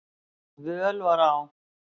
völ var á.